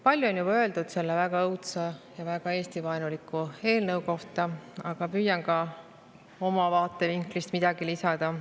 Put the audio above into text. Palju on juba öeldud selle väga õudse ja väga Eesti-vaenuliku eelnõu kohta, aga püüan ka oma vaatevinklist midagi lisada.